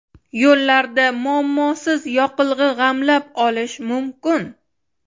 Yo‘llarda muammosiz yoqilg‘i g‘amlab olish mumkin.